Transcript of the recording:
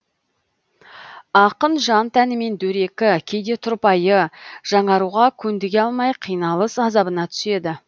ақын жан тәнімен дөрекі кейде тұрпайы жаңаруға көндіге алмай қиналыс азабына түседі